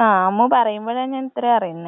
ആ അമ്മ പറയുമ്പളാണ് ഞാൻ ഇത്രേം അറിയുന്നത്.